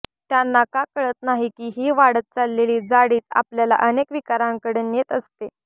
त्यांना का कळत नाही की ही वाढत चाललेली जाडीच आपल्याला अनेक विकारांकडे नेत असते